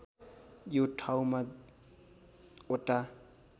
यो ठाउँमा वटा